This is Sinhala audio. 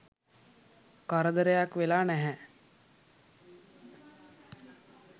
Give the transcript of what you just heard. කරදරයක් වෙලා නැහැ..